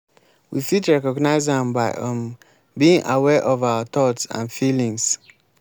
we fit recognize am by um being aware of our thoughts and feelings.